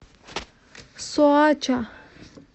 соача